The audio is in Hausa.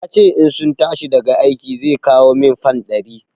Ya ce in sun tashi daga aiki zai kawo min fan ɗari.